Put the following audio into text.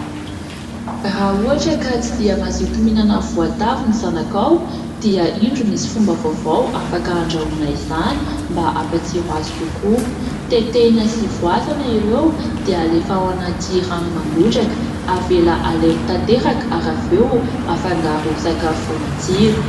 Raha ohatra ka tsy dia mazoto mihinana voatavo ny zanakao dia indro misy fomba vaovao afaka andrahoana izany mba hampatsiro azy kokoa. Tetehina sy voasana ireo dia alefa ao anaty rano mangotraka, avela halemy tanteraka ary avy eo afangaro sakafo matsiro.